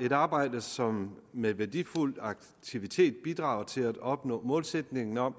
et arbejde som med værdifuld aktivitet bidrager til at opnå målsætningen om